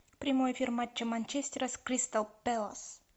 прямой эфир матча манчестера с кристал пэлас